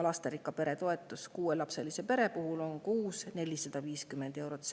Lasterikka pere toetus kuuelapselise pere puhul on 450 eurot kuus.